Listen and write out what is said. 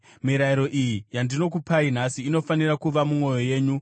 Mirayiro iyi yandinokupai nhasi inofanira kuva mumwoyo yenyu.